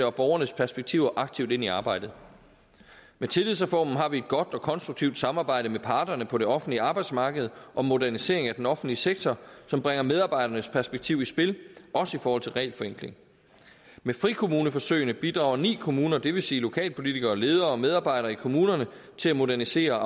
og borgernes perspektiver aktivt ind i arbejdet med tillidsreformen har vi et godt og konstruktivt samarbejde med parterne på det offentlige arbejdsmarked om modernisering af den offentlige sektor som bringer medarbejdernes perspektiv i spil også i forhold til regelforenkling med frikommuneforsøgene bidrager ni kommuner det vil sige lokalpolitikere ledere og medarbejdere i kommunerne til at modernisere og